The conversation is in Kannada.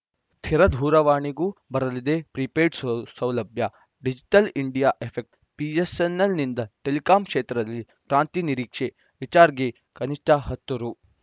ಸ್ಥಿರ ದೂರವಾಣಿಗೂ ಬರಲಿದೆ ಪ್ರೀಪೇಯ್ಡ್‌ ಸೌಲಭ್ಯ ಡಿಜಿಟಲ್‌ ಇಂಡಿಯಾ ಎಫೆಕ್ಟ್ ಬಿಎಸ್‌ಎನ್‌ಎಲ್‌ನಿಂದ ಟೆಲಿಕಾಂ ಕ್ಷೇತ್ರದಲ್ಲಿ ಕ್ರಾಂತಿ ನಿರೀಕ್ಷೆ ರಿಚಾಜ್‌ರ್‍ಗೆ ಕನಿಷ್ಠ ಹತ್ತು ರು